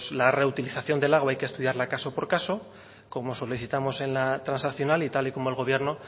la reutilización del agua hay que estudiarla caso por caso como solicitamos en la transaccional y tal y como el gobierno